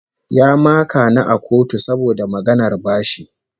Ya maka ni a kotu saboda maganar bashi